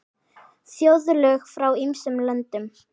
Þjóðlög frá ýmsum löndum.